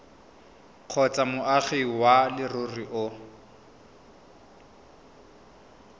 kgotsa moagi wa leruri o